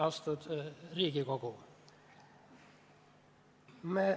Austatud Riigikogu!